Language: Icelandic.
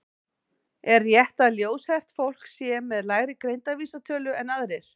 Er rétt að ljóshært fólk sé með lægri greindarvísitölu en aðrir?